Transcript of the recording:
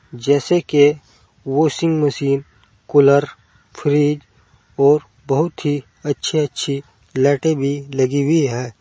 जैसे की washing machine cooler fridge और बहोत ही अच्छी अच्छी लाइटे भी लगी हुई है।